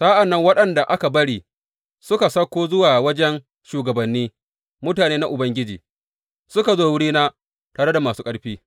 Sa’an nan waɗanda aka bari suka sauko zuwa wajen shugabanni; mutane na Ubangiji suka zo wurina tare da masu ƙarfi.